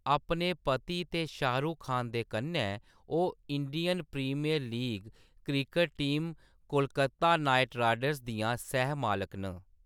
अपने पति ते शाहरुख खान दे कन्नै, ओह्‌‌ Indian Premier League cricket team Kolkata Knight Riders दियां सैह् मालक न।